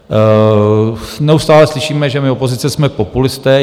Neustále slyšíme, že my, opozice, jsme populisté.